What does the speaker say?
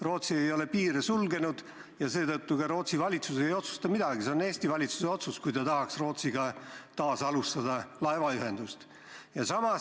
Rootsi ei ole piire sulgenud ja seetõttu ka Rootsi valitsus ei otsusta midagi, see on Eesti valitsuse otsus, kui ta tahaks Rootsiga taas laevaühendust alustada.